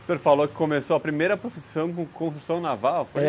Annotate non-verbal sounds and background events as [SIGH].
O senhor falou que começou a primeira profissão com construção naval? [UNINTELLIGIBLE]